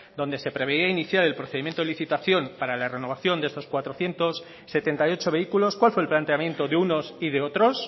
donde se preveía iniciar el procedimiento de licitación para la renovación de estos cuatrocientos setenta y ocho vehículos cuál fue el planteamiento de unos y de otros